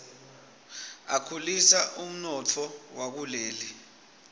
akhulisa umnotfo wakuleli